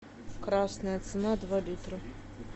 красная цена два литра